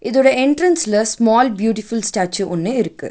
இதோட என்ட்ரன்ஸ்ல small beautiful statue ஒன்னு இருக்கு.